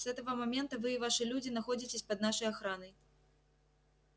с этого момента вы и ваши люди находитесь под нашей охраной